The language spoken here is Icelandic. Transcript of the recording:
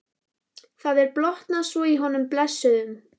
Það er blotnað svo í honum blessuðum.